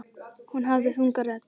Hún hafði þunga rödd.